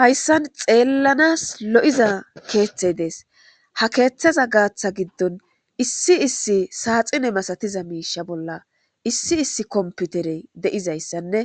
Hayssan xeellanas lo;iza keeththey dees ha keeththeza gaatha giddon issi issi saaxine masatiza miisha bolla issi issi komputerey de'izayssanne